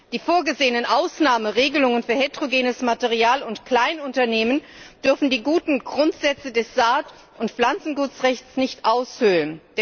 Die vorgesehenen Ausnahmeregelungen für heterogenes Material und Kleinunternehmen dürfen die guten Grundsätze des Saat und Pflanzengutrechts nicht aushöhlen.